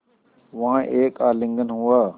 वहाँ एक आलिंगन हुआ